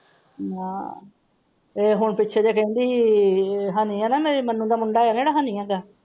ਮਾਂ ਇਹੋ ਦੇ ਪਿੱਛੇ ਕਹਿੰਦੀ ਹਨੀ ਹੈ ਨਾ ਮੰਮੀ ਦਾ ਮੁੰਡਾ ਹੈ ਨਾ ਜਿਹੜਾ ਹਨੀ ਹੈਗਾ।